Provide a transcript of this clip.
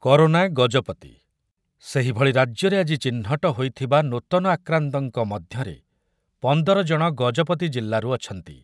Corona Gajapati, ସେହିଭଳି ରାଜ୍ୟରେ ଆଜି ଚିହ୍ନଟ ହୋଇଥିବା ନୂତନ ଆକ୍ରାନ୍ତଙ୍କ ମଧ୍ୟରେ ପନ୍ଦର ଜଣ ଗଜପତି ଜିଲ୍ଲାରୁ ଅଛନ୍ତି ।